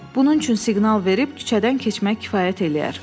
Bunun üçün siqnal verib küçədən keçmək kifayət eləyər.